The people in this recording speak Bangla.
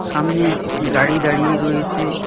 সামনে গাড়ি দাঁড়িয়ে রয়েছে।